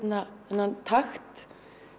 þennan takt